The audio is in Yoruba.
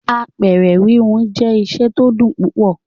Apẹ̀rẹ̀ híhun jẹ́ iṣẹ́ tó dùn púpọ̀.